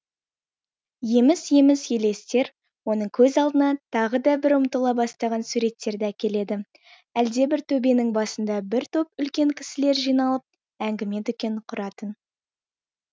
еміс еміс елестер оның көз алдына тағы да бір ұмытыла бастаған суреттерді әкеледі әлдебір төбенің басында бір топ үлкен кісілер жиналып әңгіме дүкен құратын